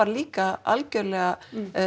líka algjörlega